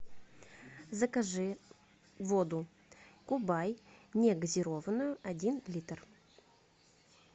закажи воду кубай негазированную один литр